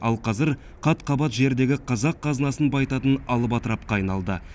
ал қазір қат қабат жердегі қазақ қазынасын байытатын алып атырапқа айналды